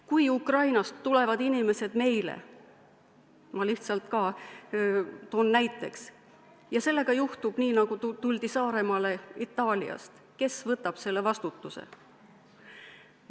Kui Ukrainast tulevad inimesed meile – ma toon lihtsalt näite – ja juhtub nii, nagu juhtus Saaremaal Itaaliast tulnutega, siis kes võtab vastutuse?